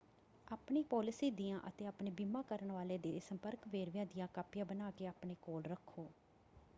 ਆਪਣੀ ਪਾਲਿਸੀ ਦੀਆਂ ਅਤੇ ਆਪਣੇ ਬੀਮਾ ਕਰਨ ਵਾਲੇ ਦੇ ਸੰਪਰਕ ਵੇਰਵਿਆਂ ਦੀਆਂ ਕਾਪੀਆਂ ਬਣਾ ਕੇ ਆਪਣੇ ਕੋਲ ਰੱਖੋ।